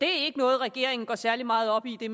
er ikke noget regeringen går særlig meget op i det